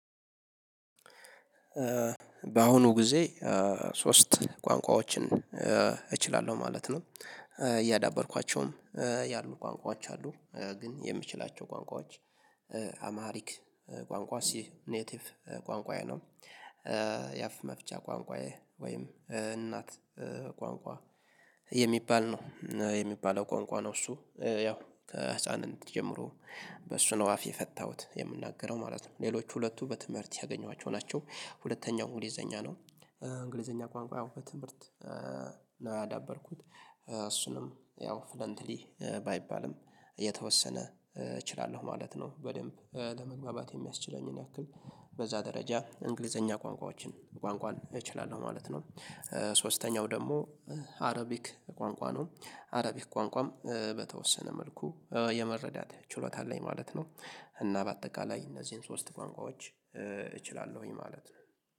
በአሁኑ ጊዜ ሶስት ቋንቋዎችን እችላለሁ ማለት ነው። እያዳበርኳቸውም ያሉ ቋንቋዎች አሉ ግን የምችላቸው ቋንቋዎች አምሃሪክ ቋንቋ ሲኔቲቭ ቋንቋዬ ነው። ያፍ መፍቻ ቋንቋዬ ወይም እናት ቋንቋ የሚባል ነው የሚባለው ቋንቋ ነው። እሱ ያው ከህፃንነት ጀምሮ በሱ ነው አፍ የፈታሁት የምናገረው ማለት ነው። ሌሎች ሁለቱ በትምህርት ያገኟቸው ናቸው ሁለተኛው እንግሊዘኛ ነው። እንግሊዘኛ ቋንቋ ያው በትምህርት ነው ያዳበርኩት እሱንም ያው ፍሎንትሊ ባይባልም የተወሰነ እችላለሁ ማለት ነው። በደንብ ለመግባባት የሚያስችለኝን ያክል በዛ ደረጃ እንግሊዘኛ ቋንቋዎችን ቋንቋን እችላለሁ ማለት ነው። ሶስተኛው ደግሞ አረቢክ ቋንቋ ነው አረቢክ ቋንቋም በተወሰነ መልኩ የመረዳት ችሎታ አለኝ ማለት ነው። እና በአጠቃላይ እነዚህን ሶስት ቋንቋዎች እችላለሁኝ ማለት ነው